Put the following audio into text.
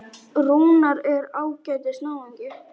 Rúnar er ágætis náungi.